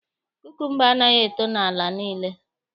Kukumba anaghị eto n'ala niile